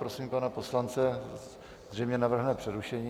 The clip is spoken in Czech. Prosím pana poslance, zřejmě navrhne přerušení.